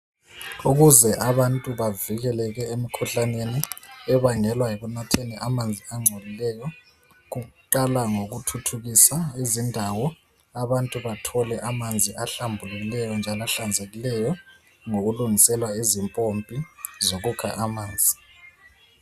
Ukuze abantu bavikeleke emkhuhlaneni ebangelwa yikunatheni amanzi agcolileyo kuqala ngokuthuthukisa izindawo abantu bathole amanzi ahlambulekileyo njalo ahlanzekileyo ngokulungiselwa izimpompi zokukha amanzi